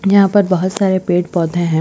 यहाँ पर बहुत सारे पेड - पौधे है।